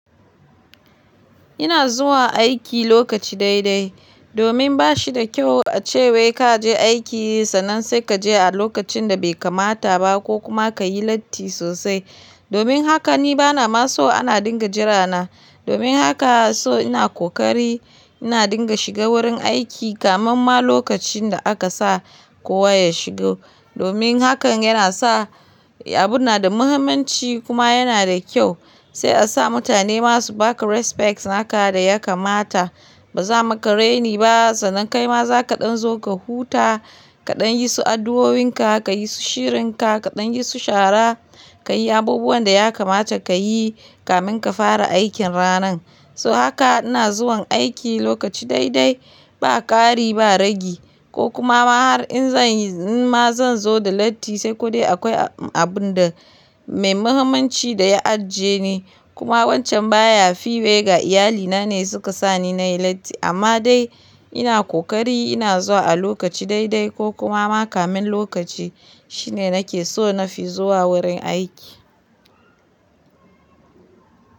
Ina zuwa aiki lokaci dai-dai domin ba shi da kyau a ce wai ka je aiki sannan sai ka je a lokacin da bai kamata ba ko kuma ka yi latti sosai. Domin haka ni bana ma so ana dinga jira na. Domin haka so ina ƙoƙari ina dinga shiga wurin aiki kamun ma lokacin da aka sa kowa ya shigo. Domin hakan yana sa abun na da muhimmanci kuma yana da ƙyau. Sai a sa mutane masu ba ka respect naka da ya kamata. Ba za'a maka reni ba sannan kai ma za ka ɗanzo ka huta, kaɗan yi su addu'o'inka, ka yi su shirinka, kaɗan yi su shara, ka yi abubuwan da ya kamata ka yi kamin ka fara aikin ranan. So haka ina zuwa aiki lokaci dai-dai ba ƙari ba ragi ko kuma ma har in zan yi in ma zan zo da latti sai kodai akwai abun da mai muhimmanci da ya ajiye ni. Kuma wancan baya fiye ga iyalina ne su ka sa ni na yi latti amma dai ina ƙoƙari ina zuwa a lokaci dai-dai ko kuma ma kamun lokaci shine nake so na fi zuwa wurin aiki.